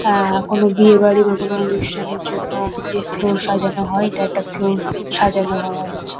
আ- কোনো বিয়েবাড়ি বা কোনো অনুষ্ঠানের জন্য যে ফ্লোর সাজানো হয় এটা একটা ফ্লোর সাজানো হয়েছে।